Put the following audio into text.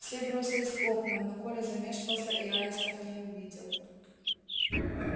все бросились к окнам но коля замешкался и аистов не увидел